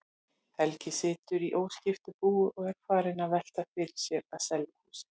Helgi situr í óskiptu búi og er farinn að velta fyrir sér að selja húsið.